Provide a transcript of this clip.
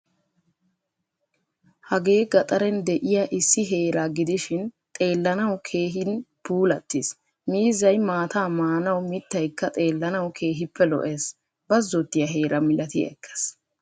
Hagee gaxaren deiyaa issi heeraa gidishin xeelanawu keehin puulattiis. Miizzay maataa maanawu miittaykka xeellanawu keehippe lo"ees. Bazzotiyaa heera milati ekkees.